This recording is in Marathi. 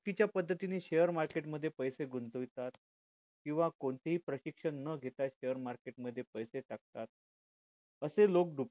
चुकीच्या पद्धतीने share market मध्ये पैसे गुंतवितात केंव्हा कोणतीही प्रशिक्षण न घेता share market मध्ये पैसे टाकतात असे लोक